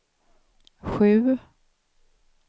sju